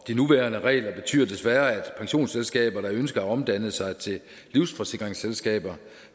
de nuværende regler betyder desværre at pensionsselskaber der ønsker at omdanne sig til livsforsikringsselskaber